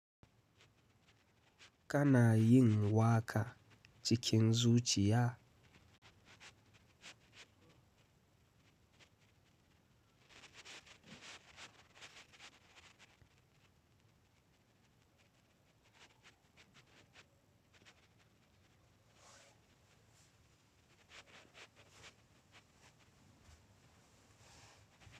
Kana yin waka cikin zuciya?